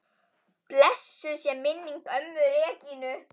Blessuð sé minning ömmu Regínu.